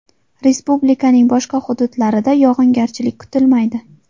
Respublikaning boshqa hududlarida yog‘ingarchilik kutilmaydi.